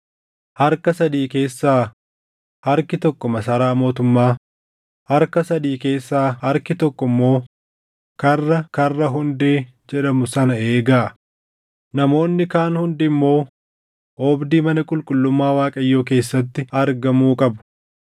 harka sadii keessaa harki tokko masaraa mootummaa, harka sadii keessaa harki tokko immoo karra ‘Karra Hundee’ jedhamu sana eegaa; namoonni kaan hundi immoo oobdii mana qulqullummaa Waaqayyoo keessatti argamuu qabu.